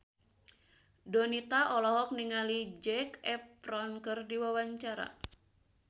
Donita olohok ningali Zac Efron keur diwawancara